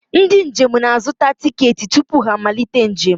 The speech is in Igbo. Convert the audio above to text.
Ndị njem na-azụta tiketi tupu ha amalite njem.